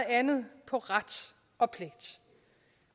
andet på ret og pligt